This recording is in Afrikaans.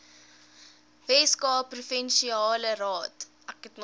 weskaapse provinsiale raad